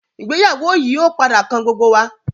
ìgbéyàwó yii o padà kan gbogbo wa.